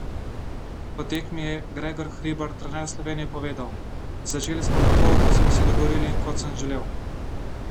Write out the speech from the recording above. Po tekmi je Gregor Hribar, trener Slovenije povedal: "Začeli smo tako, kot smo se dogovorili in kot sem želel.